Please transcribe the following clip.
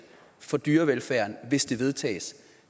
for dyrevelfærd hvis det vedtages